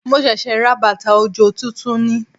Mo ṣẹ̀ṣẹ̀ ra bàtà òjò tuntun ni